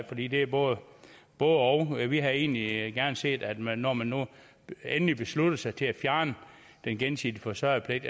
fordi det er et både og og vi havde egentlig gerne set at man når man nu endelig besluttede sig til at fjerne den gensidige forsørgerpligt